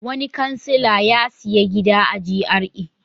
Wani kansila ya sayi gida a GRA.